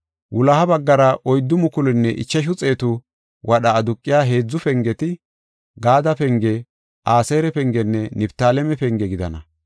Wuloha baggara oyddu mukulunne ichashu xeetu wadha aduqiya heedzu pengeti, Gaade penge, Aseera pengenne Niftaaleme penge gidana.